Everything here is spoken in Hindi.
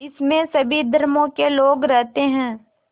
इसमें सभी धर्मों के लोग रहते हैं